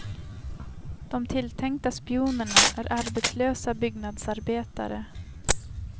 De tilltänkta spionerna är arbetslösa byggnadsarbetare.